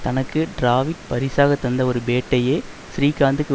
தனக்கு டிராவிட் பரிசாக தந்த ஒரு பேட்டையே ஸ்ரீகாந்துக்கு